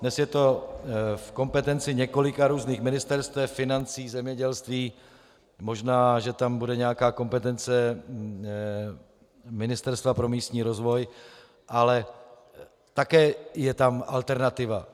Dnes je to v kompetenci několika různých ministerstev - financí, zemědělství, možná že tam bude nějaká kompetence Ministerstva pro místní rozvoj, ale také je tam alternativa.